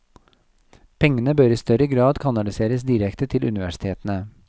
Pengene bør i større grad kanaliseres direkte til universitetene.